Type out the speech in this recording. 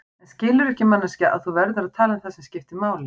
En skilurðu ekki manneskja að þú verður að tala um það sem skiptir máli.